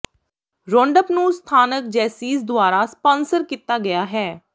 roundup ਨੂੰ ਸਥਾਨਕ Jaycees ਦੁਆਰਾ ਸਪਾਂਸਰ ਕੀਤਾ ਗਿਆ ਹੈ